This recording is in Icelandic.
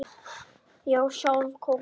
Já, sjálf Kókó